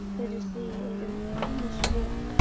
Fyrir því eru ýmis rök.